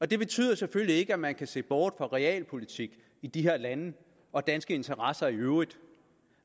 det betyder selvfølgelig ikke at man kan se bort fra realpolitik i de her lande og danske interesser i øvrigt